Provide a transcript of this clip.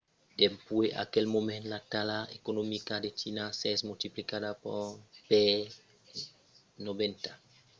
dempuèi aquel moment la talha economica de china s'es multiplicada per 90